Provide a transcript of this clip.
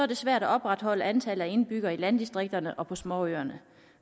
det svært at opretholde antallet af indbyggere i landdistrikterne og på småøerne